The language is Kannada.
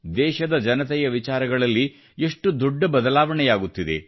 ದೇಶದ ಜನತೆಯ ವಿಚಾರಗಳಲ್ಲಿ ಎಷ್ಟು ದೊಡ್ಡ ಬದಲವಣೆ ಆಗುತ್ತಿದೆ